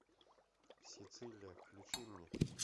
сицилия включи мне